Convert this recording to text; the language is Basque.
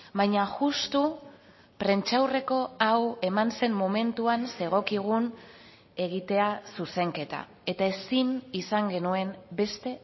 baina justu prentsaurreko hau eman zen momentuan zegokigun egitea zuzenketa eta ezin izan genuen beste